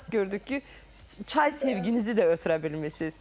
Əsas gördük ki, çay sevginizi də ötürə bilmisiz.